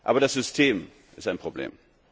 Aber das System ist